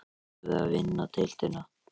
Ættum við að vinna deildina?